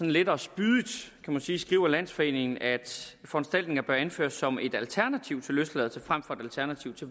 lettere spydigt kan man sige skriver landsforeningen at foranstaltninger bør anføres som et alternativ til løsladelse frem for et alternativ til